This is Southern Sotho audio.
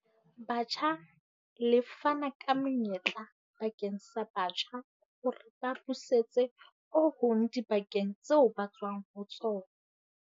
Batjha le fana ka menyetla bakeng sa batjha hore ba busetse ho hong dibakeng tseo ba tswang ho tsona.